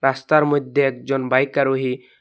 রাস্তার মধ্যে একজন বাইক আরোহী--